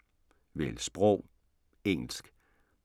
Vælg sprog: engelsk